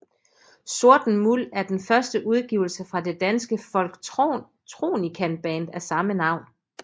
Sorten Muld er den første udgivelse fra det danske folktronicaband af samme navn